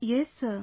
Yes Sir